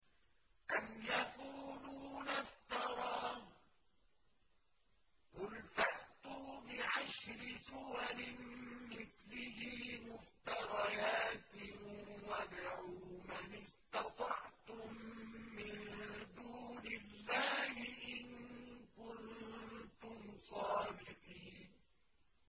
أَمْ يَقُولُونَ افْتَرَاهُ ۖ قُلْ فَأْتُوا بِعَشْرِ سُوَرٍ مِّثْلِهِ مُفْتَرَيَاتٍ وَادْعُوا مَنِ اسْتَطَعْتُم مِّن دُونِ اللَّهِ إِن كُنتُمْ صَادِقِينَ